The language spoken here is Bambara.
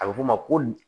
A bɛ fɔ o ma ko